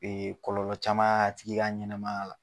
Ee kɔlɔlɔ caman a tigi ka ɲɛnɛmaya la.